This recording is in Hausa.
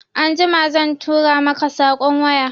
Anjima zan tura maka saƙon waya